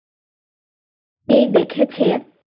এই দেখেছে